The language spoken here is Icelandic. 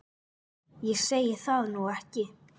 Ég segi það nú ekki.